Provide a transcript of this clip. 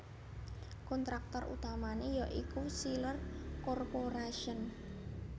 Kontraktor utamane ya iku Chrysler Corporation